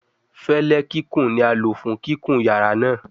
Fẹlẹ kikun ni a lo fun kikun yara naa